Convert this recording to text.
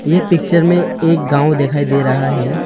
ये पिक्चर में एक गाँव दिखाई दे रहा है।